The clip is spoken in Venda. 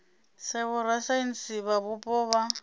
sa vhorasaintsi vha mupo vha